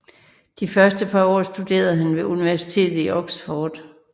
De første par år studerede han ved universitet i Oxford